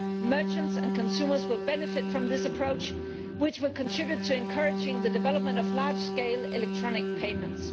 Merchants and consumers will benefit from this approach, which will contribute to encouraging the development of large scale electronic payments.